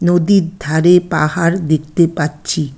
নদীর ধারে পাহাড় দেখতে পাচ্ছি।